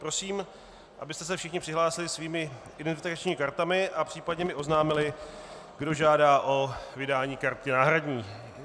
Prosím, abyste se všichni přihlásili svými identifikačními kartami a případně mi oznámili, kdo žádá o vydání karty náhradní.